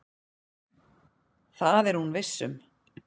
Það er hún viss um.